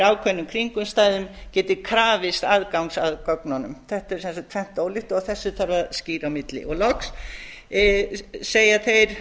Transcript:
ákveðnum kringumstæðum geti krafist aðgangs að gögnunum þetta er samt tvennt ólíkt og þetta þarf að skýra á milli loks segja þeir